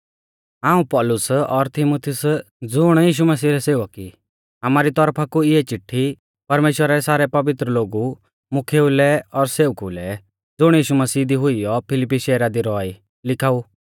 हाऊं पौलुस और तीमुथियुसा ज़ुण यीशु मसीह रै सेवक ई आमारी तौरफा कु इऐ चिट्ठी परमेश्‍वरा रै सारै पवित्र लोगु मुख्येऊ लै और सेवकु लै ज़ुण यीशु मसीह दी हुइयौ फिलिप्पी शैहरा दी रौआ ई लिखाऊ